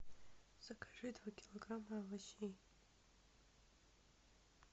закажи два килограмма овощей